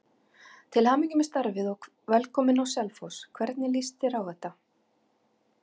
Til hamingju með starfið og velkominn á Selfoss, hvernig lýst þér á þetta?